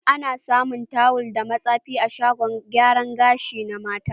Ana samun tawul da matsefe a shagon gyara gashi na mata.